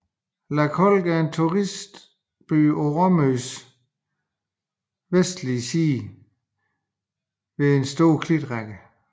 Lakolk er en turistby på Rømøs vestlige side ved en stor klitrække